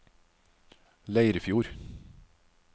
Leirfjord